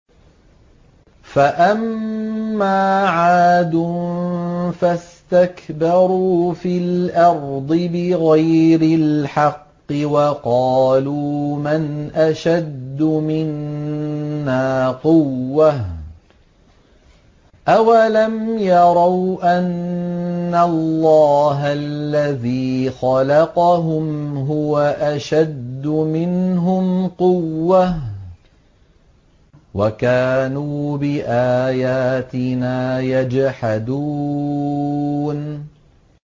فَأَمَّا عَادٌ فَاسْتَكْبَرُوا فِي الْأَرْضِ بِغَيْرِ الْحَقِّ وَقَالُوا مَنْ أَشَدُّ مِنَّا قُوَّةً ۖ أَوَلَمْ يَرَوْا أَنَّ اللَّهَ الَّذِي خَلَقَهُمْ هُوَ أَشَدُّ مِنْهُمْ قُوَّةً ۖ وَكَانُوا بِآيَاتِنَا يَجْحَدُونَ